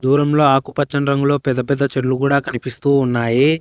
దూరం లో ఆకుపచ్చని రంగులో పెద్ద పెద్ద చెట్లు కూడా కనిపిస్తూ ఉన్నాయి.